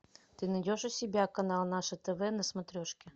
ты найдешь у себя канал наше тв на смотрешке